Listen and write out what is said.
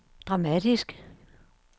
dramatisk